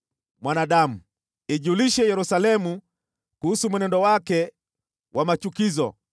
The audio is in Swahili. “Mwanadamu, ijulishe Yerusalemu kuhusu mwenendo wake wa machukizo